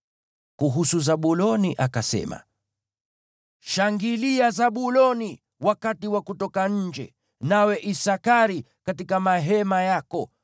Kuhusu Zabuloni akasema: “Shangilia, Zabuloni, wakati wa kutoka nje, nawe Isakari, katika mahema yako.